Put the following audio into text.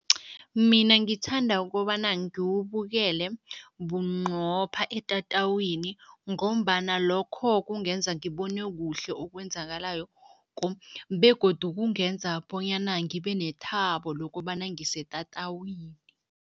Mina ngithanda ukobana ngiwubukele bunqopha etatawini ngombana lokho kungenza ngibone kuhle okwenzakalayo begodu kungenza bonyana ngibe nethabo lokobana ngisetatawini.